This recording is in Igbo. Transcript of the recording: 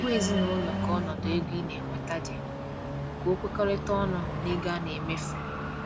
Gwa ezinụlọ ka ọnọdụ ego ina enweta di ka o kwekọrịta ọnụ na ego ana emefu